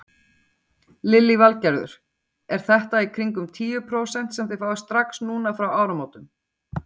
Lillý Valgerður: Er þetta í kringum tíu prósent sem þið fáið strax núna frá áramótum?